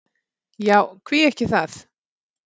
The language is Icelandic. Já, hví ekki það?